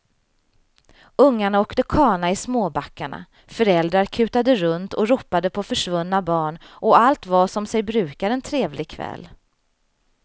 Ungarna åkte kana i småbackarna, föräldrar kutade runt och ropade på försvunna barn och allt var som sig brukar en trevlig kväll.